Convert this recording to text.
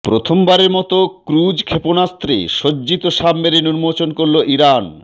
প্রথমবারের মতো ক্রুজ ক্ষেপণাস্ত্রে সজ্জিত সাবমেরিন উন্মোচন করল ইরান